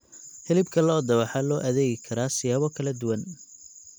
Hilibka lo'da waxaa loo adeegi karaa siyaabo kala duwan.